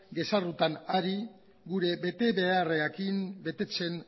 gezurretan ari gure betebeharrak betetzen